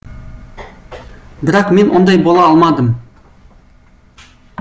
бірақ мен ондай бола алмадым